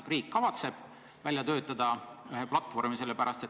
Kas riik kavatseb sellise platvormi välja töötada?